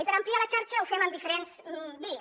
i per ampliar la xarxa ho fem amb diferents vies